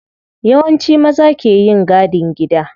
Yawanci maza ke yin gadin gida.